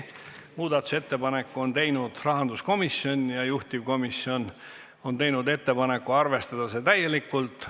Muudatusettepaneku on teinud rahanduskomisjon ja juhtivkomisjon on teinud ettepaneku arvestada seda täielikult.